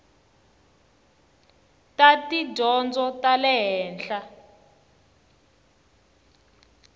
ta tidyondzo ta le henhla